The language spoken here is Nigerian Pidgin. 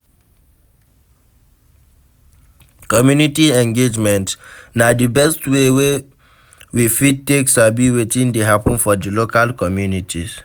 Community engagement na di best way wey we fit take sabi wetin dey happen for di local communities